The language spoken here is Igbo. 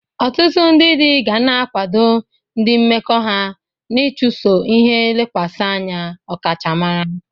Ọtụtụ ndị di ga na-akwado ndị mmekọ ha n'ịchụso ihe lekwasị anya ọkachamara.